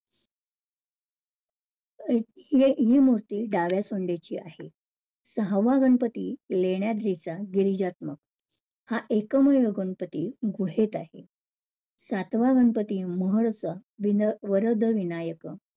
ही~ हि मूर्ती डाव्या सोंडीची आहे. सहावा गणपती लेण्याद्रीचा गिरिजात्मक हा एकमेव गणपती घोषित आहे. सातवा गणपती महड चा विना वरदविनायक